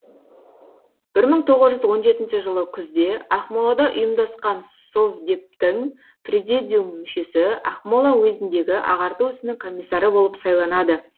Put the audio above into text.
бір мың тоғыз жүз он жетінші жылы күзде ақмолада ұйымдасқан совдептің президиум мүшесі ақмола уезіндегі ағарту ісінің комиссары болып сайланады